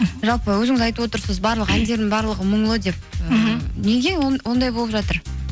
жалпы өзіңіз айтып отырсыз барлық әндерімнің барлығы мұңлы деп мхм неге ондай болып жатыр